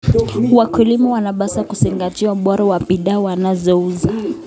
Wakulima wanapaswa kuzingatia ubora wa bidhaa wanazouza.